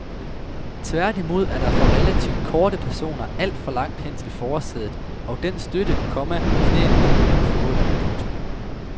Tværtimod er der for relativt korte personer alt for langt hen til forsædet og den støtte, komma knæene kunne have fået. punktum